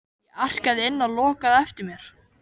Ég arkaði inn og lokaði á eftir mér.